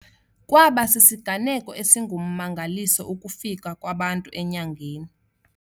Kwaba sisiganeko esingummangaliso ukufika kwabantu enyangeni.